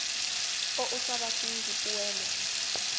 o o sa batleng dipoelo